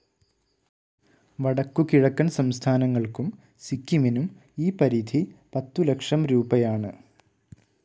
വടക്കുകിഴക്കൻ സംസ്ഥാനങ്ങൾക്കും സിക്കിമിനും ഈ പരിധി പത്തുലക്ഷംരൂപയാണ്.